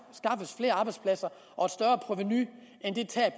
flere arbejdspladser og